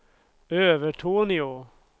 Övertorneå